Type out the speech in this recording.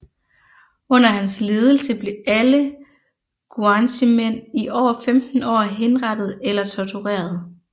Under hans ledelse blev alle guanchemænd over 15 år henrettet eller tortureret